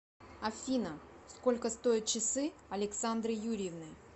афина сколько стоят часы александры юрьевны